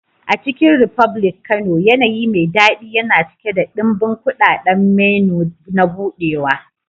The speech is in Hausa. A Chicken republic Kano, yanayi mai daɗi yana cike da ɗimbin kuɗaɗen menu na buɗewa.